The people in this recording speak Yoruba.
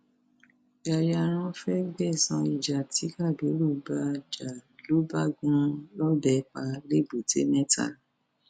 yayaran fee gbẹsan ìjà tí kábírù bá a jà ló bá gún un lọbẹ pa lẹbùtẹ mẹta